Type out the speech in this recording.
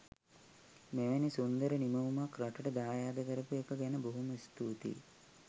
මෙවැනි සුන්දර නිමවුමක් රටට දායාද කරපු එක ගැන බොහොම ස්තුතියි